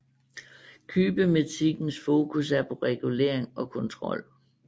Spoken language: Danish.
Kybernetikkens fokus er på regulering og kontrol